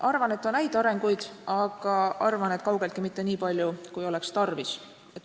Arvan, et on häid arenguid, aga arvan ka, et kaugeltki mitte nii palju, kui oleks tarvis.